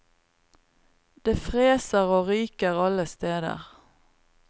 Det freser og ryker alle steder.